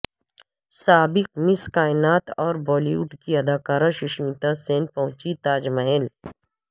سابق مس کائنات اور بالی ووڈ کی اداکارہ سشمیتا سین پہنچی تاج محل